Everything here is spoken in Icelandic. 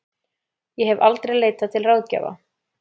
Ég hef aldrei leitað til ráðgjafa.